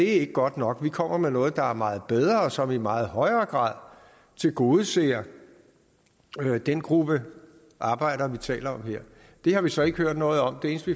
ikke godt nok vi kommer med noget der er meget bedre og som i meget højere grad tilgodeser den gruppe arbejdere vi taler om her det har vi så ikke hørt noget om det eneste